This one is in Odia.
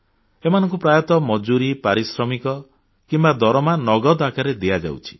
ଏମାନଙ୍କୁ ପ୍ରାୟତଃ ମଜୁରୀ ପାରିଶ୍ରମିକ କିମ୍ବା ଦରମା ନଗଦ ଆକାରରେ ଦିଆଯାଉଛି